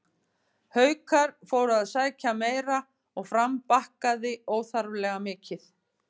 Haukar fóru að sækja meira og Fram bakkaði óþarflega mikið.